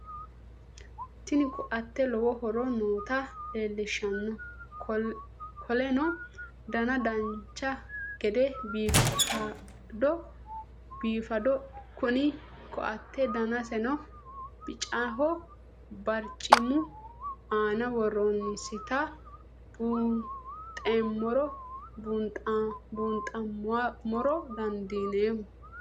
Tiini koatee loowo hooro noota lelshanno koolenno daana daancha geede biifadhoo kunni koate daansinno biicahoo baarchimu aana wooronsitaa buunxamora dandiinmo.